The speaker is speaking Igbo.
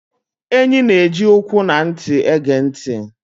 Enyị́ nà-ẹji ụkwụ na ntị égè ntị.